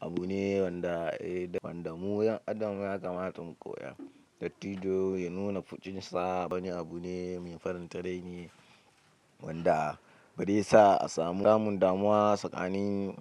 Abu ne wanda mu yan adam ya kamata mu koya. Dattijo ya nuna fushinsa wani abu ne mai faranta rai wanda barai sa a samu samun damuwa tsakanin.